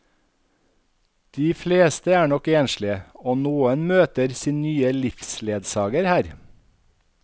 De fleste er nok enslige, og noen møter sin nye livsledsager her.